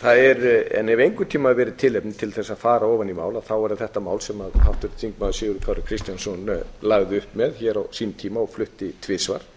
hafi einhvern tímann verið tilefni til þess að fara ofan í mál er það þetta að sem háttvirtur þingmaður sigurður kári kristjánsson lagði upp með hér á sínum tíma og flutti tvisvar